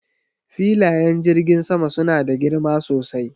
Filayen jirgin sama suna da girma sosai.